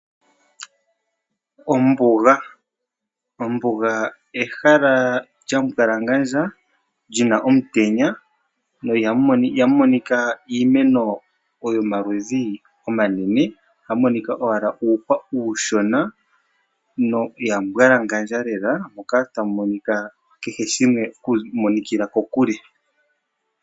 Ombuga, ombuga ehala lyambwalangadja muna omutenya na ihamu monika iimeno yomaludhi omanene, ohamu monika owala uuhwa uushona na olyambwalangandja lela moka tamu monika kehe shimwe okumonikila kokule.